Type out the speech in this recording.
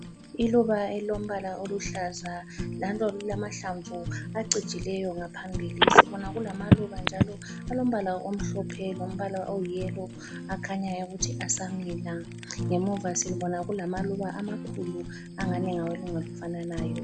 Iluba elilombala oluhlaza njalo lilamahlamvu acijileyo ngaphambili. Sibona kulamaluba njalo alombala omhlophe lombala oyiyelo akhanyayo ukuthi asamila, ngemuva sibona kulamaluba amakhulu angani ngawelunga olufananayo.